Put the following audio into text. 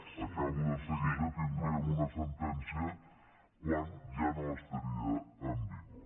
acabo de seguida tindríem una sentència quan ja no estaria en vigor